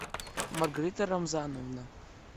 маргарита рамзановна